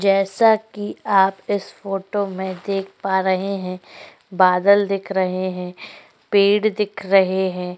जैसा की आप इस फोटो में देख पा रहे है बादल दिख रहे है पेड़ दिख रहे है।